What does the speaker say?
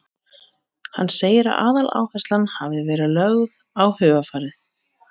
Hann segir að aðaláherslan hafi verið lögð á hugarfarið.